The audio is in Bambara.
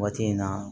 Waati in na